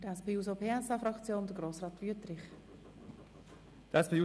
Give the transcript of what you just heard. Für die SP-JUSO-PSA-Fraktion hat Grossrat Wüthrich das Wort.